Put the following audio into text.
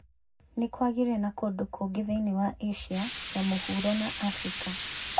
Nĩ kwagĩire na kũndũ kũngĩ thĩinĩ wa Asia ya Mũhuro na Afrika.